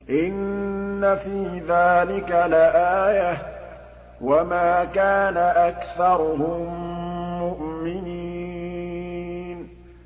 إِنَّ فِي ذَٰلِكَ لَآيَةً ۖ وَمَا كَانَ أَكْثَرُهُم مُّؤْمِنِينَ